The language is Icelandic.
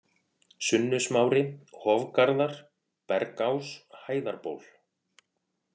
Sunnusmári, Hofgarðar, Bergás, Hæðarból